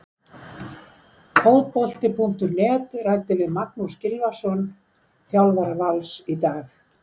Fótbolti.net ræddi við Magnús Gylfason, þjálfara Vals, í dag.